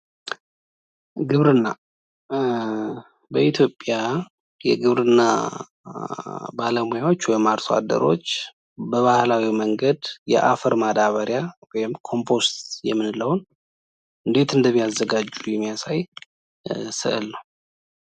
ግብርና፤ በኢትዮጲያ የግብርና ባለሙያዎች ወይም አርሶ አደሮች በባህላዊ መንገድ የአፈር ማዳበሪያ ወይም ኮምፖስት የምንለውን እንዴት እንደሚያዘጋጁ የሚያሳይ ስእል ነው።